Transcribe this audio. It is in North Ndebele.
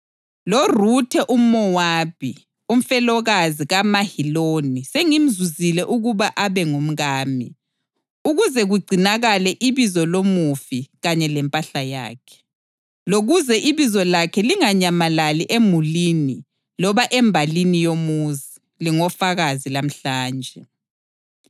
LoRuthe umʼMowabi, umfelokazi kaMaheloni sengimzuzile ukuba abe ngumkami, ukuze kugcinakale ibizo lomufi kanye lempahla yakhe, lokuze ibizo lakhe linganyamalali emulini loba embalini yomuzi. Lingofakazi lamhlanje!”